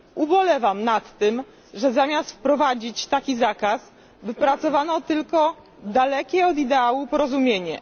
Ubolewam nad tym, że zamiast wprowadzić taki zakaz, wypracowano tylko dalekie od ideału porozumienie.